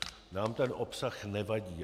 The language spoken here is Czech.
Nám ten obsah nevadí.